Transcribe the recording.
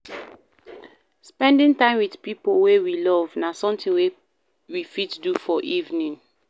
Spending time with pipo wey we love na something wey we fit do for evening